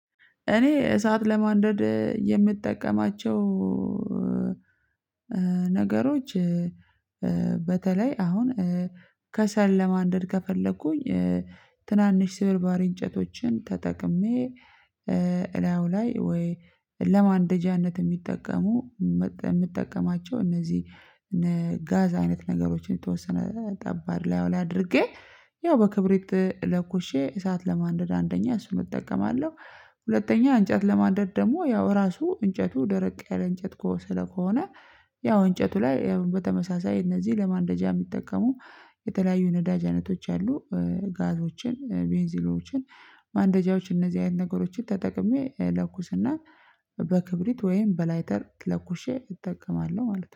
እኔ እሳት ለማንደድ የምጠቀማቸው ነገሮች በተለይ አሁን ከሰል ለማንደድ ከፈለኩኝ ትናንሽ ስብርባሪ እንጨቶችን ተጠቅሜ እላዩ ላይ ወይ ለማንደጃነት የሚጠቀሙ የምጠቀማቸው እነዚህ እነ ጋዝ አይነት ነገሮችን የተወሰነ ጠብ እላዩ ላይ አድርጌ ያው በክብሪት ለኩሼ እሳት ለማንደድ አንደኛ እሱን እጠቀማለሁ። ሁለተኛ እንጫት ለማንድ ደግሞ ያው ራሱ እንጨቱ ደረቅ ያለ እንጨት ከሆነ ስለሆነ ያው እንጨቱ ላይ በተመሳሳይ እነዚህ ለማንደጃ የሚጠቀሙ የተለያዩ ነዳጅ አይነቶች አሉ። ጋዞችን ቤንዚሎችን ማንደጃዎች እነዚህ አይነት ነገሮችን ተጠቅሜ ለኩስና በክብሪት ወይም በላይተር ለኩሼ እጠቀማለሁ ማለት ነው